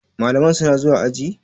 Malaman suna zuwa ajin?